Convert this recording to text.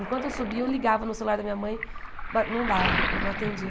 Enquanto eu subia, eu ligava no celular da minha mãe, mas não dava, não atendia.